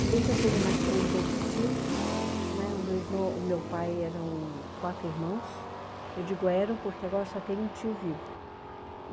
Se bem que eu tenho mais três outros tios, né, o meu irmão, o meu pai eram quatro irmãos, eu digo eram porque agora só tem um tio vivo.